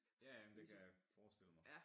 Ja ja men det kan jeg forestille mig